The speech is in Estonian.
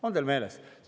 On teil meeles?